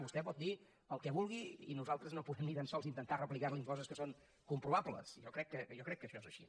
vostè pot dir el que vulgui i nosaltres no podem ni tan sols intentar replicarli coses que són comprovables jo crec que això és així